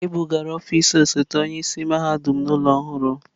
E bugara ọfịs osote onye isi mahadum n'ụlọ ọhụrụ.